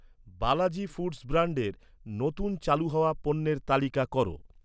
Balaji Foods ব্র্যান্ডের নতুন চালু হওয়া পণ্যের তালিকা কর